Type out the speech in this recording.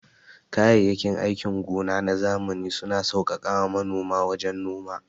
Kayayyakin aikin gona na zamani suna sauƙaƙa ma manoma wajen noma.